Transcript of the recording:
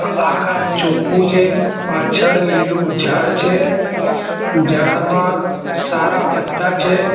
આકાશ ચોખ્ખુ છે પાછળ લીલુ ઝાડ છે ઝાડમાં સારા પત્તા છે.